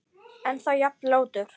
Ennþá jafn ljótur.